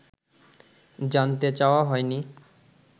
জানতে চাওয়া হয়নি